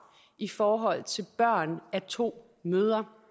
i forhold til børn af to mødre